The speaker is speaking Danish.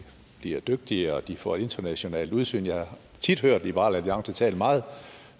bliver dygtigere og de får internationalt udsyn jeg har tit hørt liberal alliance tale meget